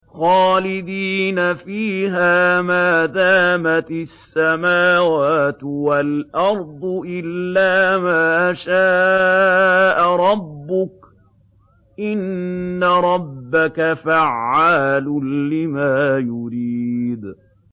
خَالِدِينَ فِيهَا مَا دَامَتِ السَّمَاوَاتُ وَالْأَرْضُ إِلَّا مَا شَاءَ رَبُّكَ ۚ إِنَّ رَبَّكَ فَعَّالٌ لِّمَا يُرِيدُ